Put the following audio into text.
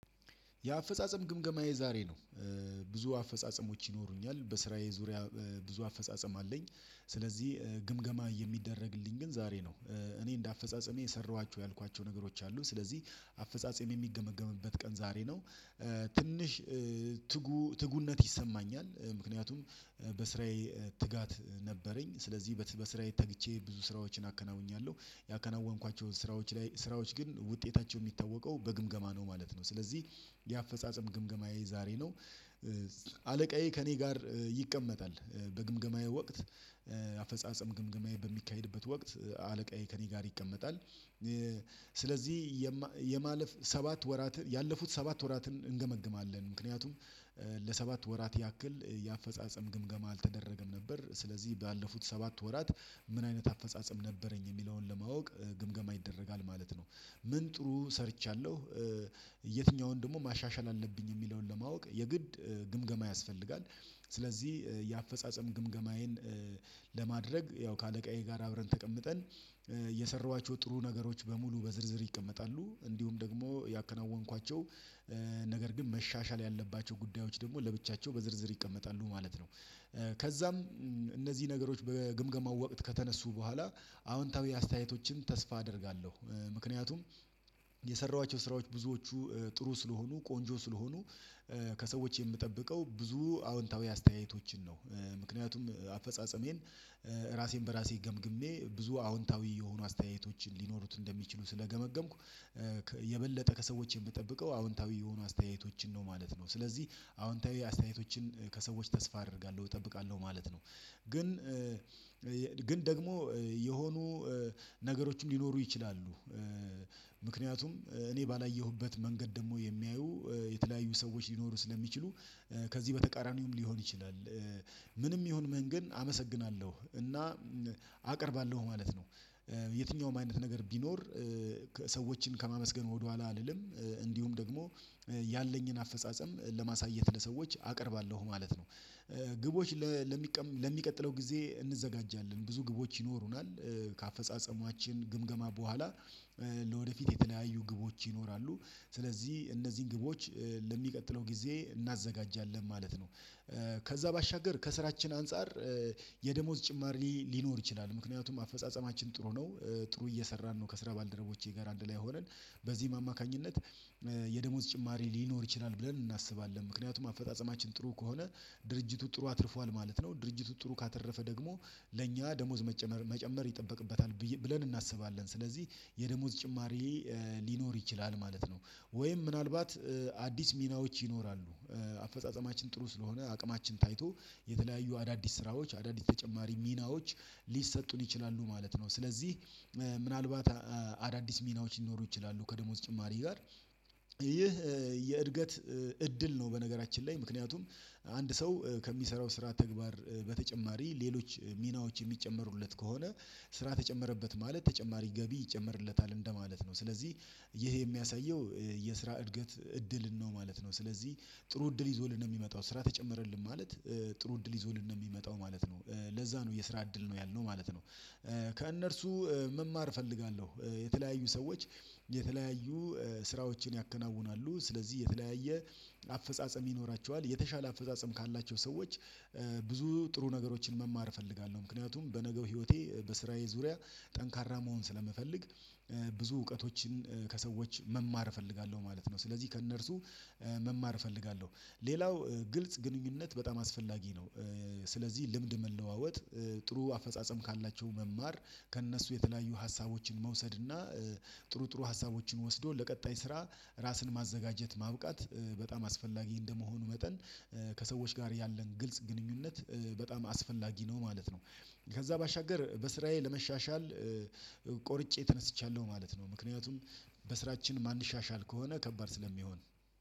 የአፈጻጸም ግምገማ የዛሬ ነው። ብዙ አፈጻጸሞች ይኖሩኛል በስራዬ ዙሪያ ብዙ አፈጻጸም አለኝ። ስለዚህ ግምገማ የሚደረግልኝ ግን ዛሬ ነው። እኔ እንደ አፈጻጸሜ የሰራኋቸው ያልኳቸው ነገሮች አሉ ስለዚህ አፈጻጸም የሚገመገምበት ቀን ዛሬ ነው። ትንሽ ትጉ ትጉነት ይሰማኛል ምክንያቱም በስራዬ ትጋት ነበረኝ። ስለዚህ በስራዬ ተግቼ ብዙ ስራዎችን አከናውኛለሁ ያከናወንኳቸውን ስራዎች ላይ ስራዎች ግን ውጤታቸው የሚታወቀው በግምገማ ነው ማለት ነው። ስለዚህ የአፈጻጸም ግምገማዬ ዛሬ ነው። አለቃዬ ከእኔ ጋር ይቀመጣል። በግምገማዬ ወቅት አፈጻጸም ግምገማዬ በሚካሄድበት ወቅት አለቃዬ ከእኔ ጋር ይቀመጣል። ስለዚህ የማለፍ ሰባት ወራት ያለፉት ሰባት ወራትን እንገመግማለን ምክንያቱም ለሰባት ወራት ያክል የአፈጻጸም ግምገማ አልተደረገም ነበር ስለዚህ ባለፉት ሰባት ወራት ምን አይነት አፈጻጸም ነበረኝ የሚለውን ለማወቅ ግምገማ ይደረጋል ማለት ነው። ምን ጥሩ ሰርቻለሁ። የትኛውን ደግሞ ማሻሻል አለብኝ የሚለውን ለማወቅ የግድ ግምገማ ያስፈልጋል። ስለዚህ የአፈጻጸም ግምገማዬን ለማድረግ ያው ከአለቃዬ ጋር አብረን ተቀምጠን እየሰሯቸው ጥሩ ነገሮች በሙሉ በዝርዝር ይቀመጣሉ እንዲሁም ደግሞ ያከናወንኳቸው ነገር ግን መሻሻል ያለባቸው ጉዳዮች ደግሞ ለብቻቸው በዝርዝር ይቀመጣሉ ማለት ነው። ከዛም እነዚህ ነገሮች በግምገማው ወቅት ከተነሱ በኋላ አዎንታዊ አስተያየቶችን ተስፋ አደርጋለሁ። ምክንያቱም የሰራኋቸው ስራዎች ብዙዎቹ ጥሩ ስለሆኑ ቆንጆ ስለሆኑ ከሰዎች የምጠብቀው ብዙ አዎንታዊ አስተያየቶችን ነው። ምክንያቱም አፈጻጸሜን ራሴን በራሴ ገምግሜ ብዙ አዎንታዊ የሆኑ አስተያየቶችን ሊኖሩት እንደሚችሉ ስለገመገምኩ። የበለጠ ከሰዎች የምጠብቀው አዎንታዊ የሆኑ አስተያየቶችን ነው ማለት ነው። ስለዚህ አዎንታዊ አስተያየቶችን ከሰዎች ተስፋ አደርጋለሁ እጠብቃለሁ ማለት ነው። ግን ግን ደግሞ የሆኑ ነገሮች ሊኖሩ ይችላሉ። እኔ ባላየሁበት መንገድ ደግሞ የሚያዩ የተለያዩ ሰዎች ሊኖሩ ስለሚችሉ ከዚህ በተቃራኒውም ሊሆን ይችላል። ምንም ይሁን ምን ግን አመሰግናለሁ እና አቀርባለሁ ማለት ነው። የትኛውም አይነት ነገር ቢኖር ሰዎችን ከማመስገን ወደኋላ አልልም። እንዲሁም ደግሞ ያለኝን አፈጻጸም ለማሳየት ለሰዎች አቀርባለሁ ማለት ነው። ግቦች ለሚቀጥለው ጊዜ እንዘጋጃለን ብዙ ግቦች ይኖሩናል። ከአፈጻጸማችን ግምገማ በኋላ ለወደፊት የተለያዩ ግቦች ይኖራሉ ስለዚህ እነዚህን ግቦች ለሚቀጥለው ጊዜ እናዘጋጃለን ማለት ነው። ከዛ ባሻገር ከስራችን አንፃር የደሞዝ ጭማሪ ሊኖር ይችላል ምክንያቱም አፈጻጸማችን ጥሩ ነው። ጥሩ እየሰራን ነው ከስራ ባልደረቦቼ ጋር አንድ ላይ ሆነን በዚህ አማካኝነት የደሞዝ ጭማሪ ሊኖር ይችላል ብለን እናስባለን። ምክንያቱም አፈጻጸማችን ጥሩ ከሆነ ድርጅቱ ጥሩ አትርፏል ማለት ነው ድርጅቱ ጥሩ ካተረፈ ደግሞ ለእኛ ደሞዝ መጨመር ይጠበቅበታል ብለን እናስባለን ስለዚህ የደሞዝ ጭማሪ ሊኖር ይችላል ማለት ነው። ወይም ምናልባት አዲስ ሚናዎች ይኖራሉ አፈጻጸማችን ጥሩ ስለሆነ አቅማችን ታይቶ የተለያዩ አዳዲስ ስራዎች አዳዲስ ተጨማሪ ሚናዎች ሊሰጡን ይችላሉ ማለት ነው። ስለዚህ ምናልባት አዳዲስ ሚናዎች ሊኖሩ ይችላሉ ከደሞዝ ጭማሪ ጋር። ይህ የእድገት እድል ነው። በነገራችን ላይ ምክንያቱም አንድ ሰው ከሚሰራው ስራ ተግባር በተጨማሪ ሌሎች ሚናዎች የሚጨመሩለት ከሆነ ስራ ተጨመረበት ማለት ተጨማሪ ገቢ ይጨምርለታል እንደማለት ነው። ስለዚህ ይሄ የሚያሳየው የስራ እድገት እድልን ነው ማለት ነው። ስለዚህ ጥሩ እድል ይዞልን ነው የሚመጣው ስራ ተጨመረልን ማለት ጥሩ እድል ይዞልን ነው የሚመጣው ማለት ነው። ለዛ ነው የስራ እድል ነው ያልነው ማለት ነው። ከእነርሱ መማር እፈልጋለሁ። የተለያዩ ሰዎች የተለያዩ ስራዎችን ያከናውናሉ ስለዚህ የተለያየ አፈጻጸም ይኖራቸዋል የተሻለ አፈጻጸም ካላቸው ብዙ ጥሩ ነገሮችን መማር እፈልጋለሁ። ምክንያቱም በነገው ህይወቴ በስራዬ ዙሪያ ጠንካራ መሆን ስለምፈልግ ብዙ እውቀቶችን ከሰዎች መማር እፈልጋለሁ ማለት ነው። ስለዚህ ከእነርሱ መማር እፈልጋለሁ። ሌላው ግልጽ ግንኙነት በጣም አስፈላጊ ነው። ስለዚህ ልምድ መለዋወጥ ጥሩ አፈጻጸም ካላቸው መማር ከእነሱ የተለያዩ ሀሳቦችን መውሰድና ጥሩ ጥሩ ሀሳቦችን ወስዶ ለቀጣይ ስራ ራስን ማዘጋጀት ማብቃት በጣም አስፈላጊ እንደመሆኑ መጠን ከሰዎች ጋር ያለን ግልጽ ግንኙነት በጣም አስፈላጊ ነው ማለት ነው። ከዛ ባሻገር በስራዬ ለመሻሻል ቆርጬ ተነስቻለሁ ማለት ነው ምክንያቱም በስራችን ማንሻሻል ከሆነ ከባድ ስለሚሆን